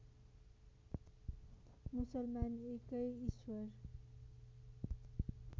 मुसलमान एकै ईश्वर